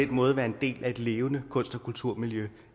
den måde være en del af et levende kunst og kulturmiljø